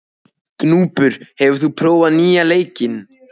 Gnúpur, hefur þú prófað nýja leikinn?